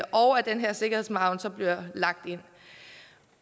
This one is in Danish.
og at den her sikkerhedsmargen bliver lagt ind